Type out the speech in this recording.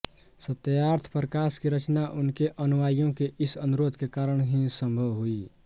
सत्यार्थ प्रकाश की रचना उनके अनुयायियों के इस अनुरोध के कारण ही सम्भव हुई